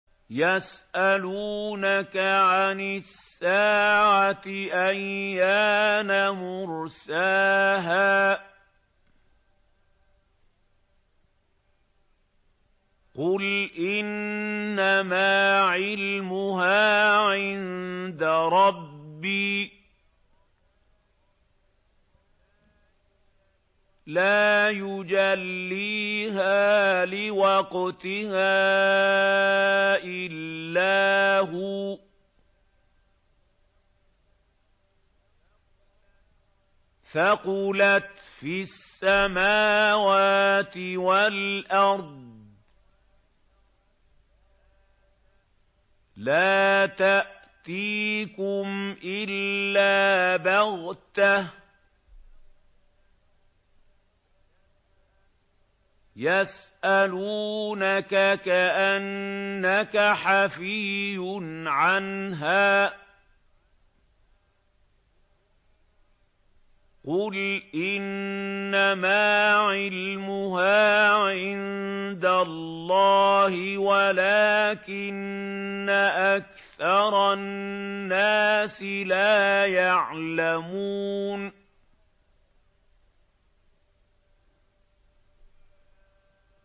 يَسْأَلُونَكَ عَنِ السَّاعَةِ أَيَّانَ مُرْسَاهَا ۖ قُلْ إِنَّمَا عِلْمُهَا عِندَ رَبِّي ۖ لَا يُجَلِّيهَا لِوَقْتِهَا إِلَّا هُوَ ۚ ثَقُلَتْ فِي السَّمَاوَاتِ وَالْأَرْضِ ۚ لَا تَأْتِيكُمْ إِلَّا بَغْتَةً ۗ يَسْأَلُونَكَ كَأَنَّكَ حَفِيٌّ عَنْهَا ۖ قُلْ إِنَّمَا عِلْمُهَا عِندَ اللَّهِ وَلَٰكِنَّ أَكْثَرَ النَّاسِ لَا يَعْلَمُونَ